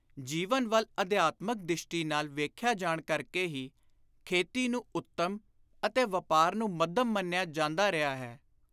ਜੀਵਨ ਵੱਲ ਅਧਿਆਤਮਕ ਦਿਸ਼ਟੀ ਨਾਲ ਵੇਖਿਆ ਜਾਣ ਕਰਕੇ ਹੀ ਖੇਤੀ ਨੂੰ ਉੱਤਮ ਅਤੇ ਵਾਪਾਰ ਨੂੰ ਮੱਧਮ ਮੰਨਿਆ ਜਾਂਦਾ ਰਿਹਾ ਹੈ।